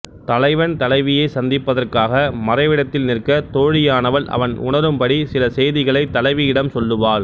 தலைவன் தலைவியைச் சந்திப்பதற்காக மறைவிடத்தில் நிற்க தோழியானவள் அவன் உணரும் படி சில செய்திகளைத் தலைவியிடம் சொல்லுவாள்